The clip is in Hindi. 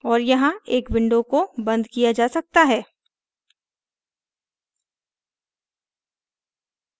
और यहाँ इस window को and किया जा सकता है